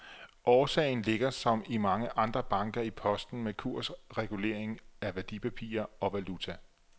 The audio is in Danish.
Årsagen ligger som i mange andre banker i posten med kursregulering af værdipapirer og valuta.